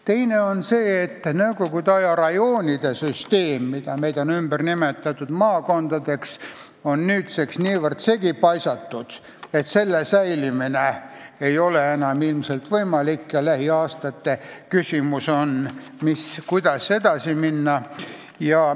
Teiseks, nõukogu aja rajoonide süsteem, mis sai ümber nimetatud maakondadeks, on nüüdseks niivõrd segi paisatud, et selle säilimine ei ole enam ilmselt võimalik ja lähiaastate küsimus on, kuidas edasi minna.